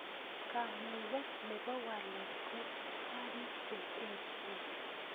Kamuket nebo walet ko karik che echen